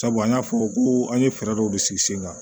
Sabu an y'a fɔ ko an ye fɛɛrɛ dɔw de sigi sen kan